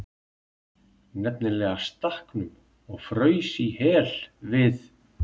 NEFNILEGA STAKKNUM OG FRAUS Í HEL, VIÐ